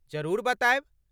जरूर बतायब।